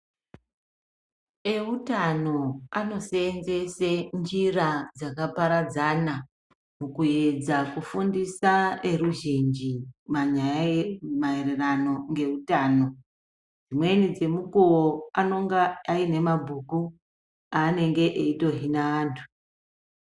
Eutano anosenzese njira dzakaparadzana mukupedza mukufundisa eruzhinji manyaya maererano ngeutano . Dzimweni dzemukuwo anonga ane mabhuku anonga aitohina antu.